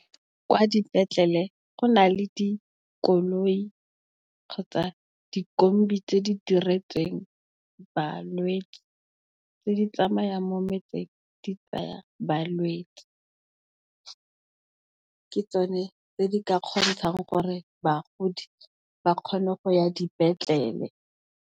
Kwa dipetlele go na le dikoloi kgotsa, dikombi tse di diretsweng balwetsi, tse di tsamayang mo motseng di tsaya balwetsi. Ke tsone tse di ka kgontshang gore bagodi ba kgone go ya dipetlele.